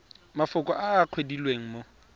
mafoko a a kwadilweng mo